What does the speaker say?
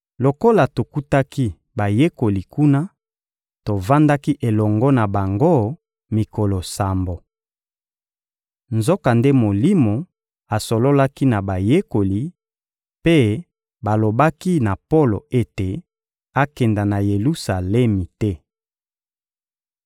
Lokola tokutaki bayekoli kuna, tovandaki elongo na bango mikolo sambo. Nzokande Molimo asololaki na Bayekoli, mpe balobaki na Polo ete akende na Yelusalemi te.